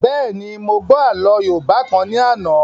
Bẹ́ẹ̀ni, mo gbọ́ àlọ́ yóòbá kan ní àná